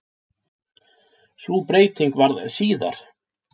Sú breyting varð síðar.